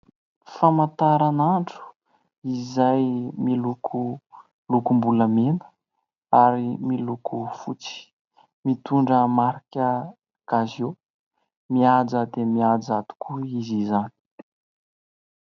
Famantaranandro izay miloko lokom-bolamena ary miloko fotsy. Mitondra marika "casio". Mihaja dia mihaja tokoa izy izany.